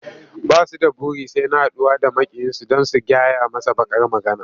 Ba su da buri sai na haɗuwa da maƙiyinsu don su gyaya masa baƙar magana.